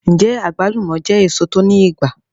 Nje agablumo je eso to ni igba